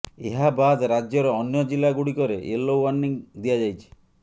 ଏହାବାଦ୍ ରାଜ୍ୟର ଅନ୍ୟ ଜିଲ୍ଲା ଗୁଡିକରେ ୟେଲୋ ୱାର୍ଣ୍ଣିଂ ଦିଆଯାଇଛି